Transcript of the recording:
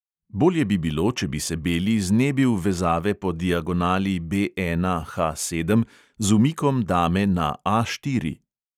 Bolje bi bilo, če bi se beli znebil vezave po diagonali B Na-ha sedem z umikom dame na A štiri.